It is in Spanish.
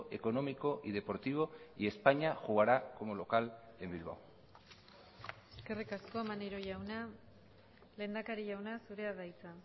económico y deportivo y españa jugará como local en bilbao eskerrik asko maneiro jauna lehendakari jauna zurea da hitza